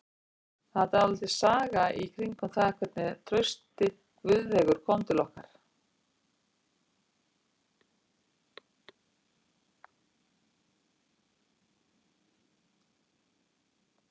Það er dálítil saga í kringum það hvernig Trausti Guðveigur kom til okkar.